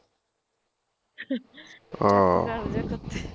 ਆਹ